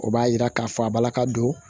O b'a yira k'a fɔ a balaka don